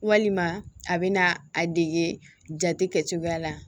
Walima a bɛ na a dege jate kɛcogoya la